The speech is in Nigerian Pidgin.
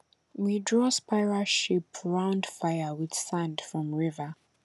we draw spiral shape round fire with sand from river